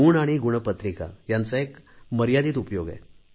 गुण आणि गुणपत्रिका यांचा एक मर्यादित उपयोग आहे